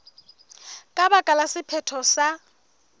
ka baka la sephetho se